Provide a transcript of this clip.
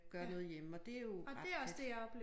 Gøre noget hjemme og det jo ret fedt